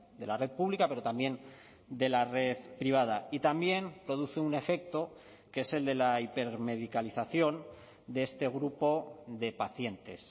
de la red pública pero también de la red privada y también produce un efecto que es el de la hipermedicalización de este grupo de pacientes